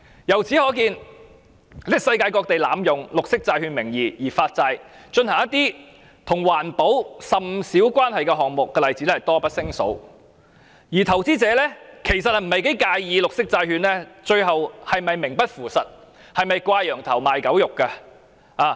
由此可見，世界各地濫用綠色債券名義來發債，以進行一些跟環保甚少關係的項目的例子多不勝數，而投資者其實並不太介意綠色債券最後是否名不副實、是否掛羊頭賣狗肉。